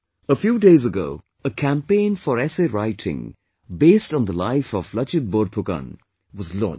A few days ago, a campaign for essay writing based on the life of Lachit Borphukan was launched